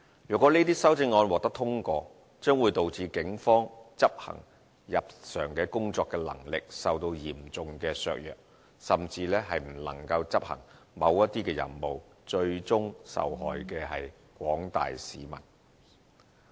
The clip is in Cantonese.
如果這些修正案獲得通過，將會導致警方執行日常的工作能力受到嚴重的削弱，甚至不能夠執行某些任務，最終受害的是廣大的市民。